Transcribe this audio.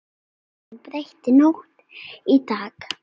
Hún breytti nótt í dag.